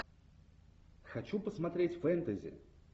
хочу посмотреть фэнтези